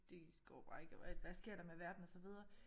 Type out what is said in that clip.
Det går bare ikke og hvad hvad sker der med verden og så videre